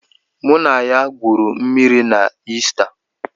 Mụ na ya gwuru mmịrị na Ista.